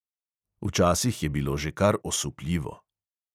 Včasih je bilo že kar osupljivo.